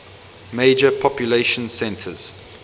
major population centers